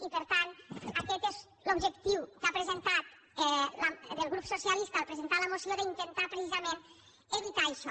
i per tant aquest és l’objectiu que ha presentat el grup socialista al presentar la moció d’intentar precisament evitar això